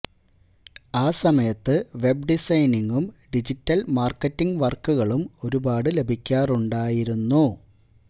ആ സമയത്ത് വെബ് ഡിസൈനിംഗും ഡിജിറ്റല് മാര്ക്കറ്റിംഗ് വര്ക്കുകളും ഒരുപാടു ലഭിക്കാറുണ്ടായിരുന്നു